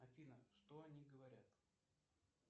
афина что они говорят